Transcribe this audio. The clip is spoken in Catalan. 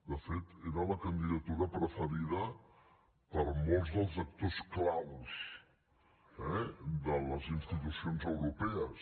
de fet era la candidatura preferida per molts dels actors clau eh de les institucions europees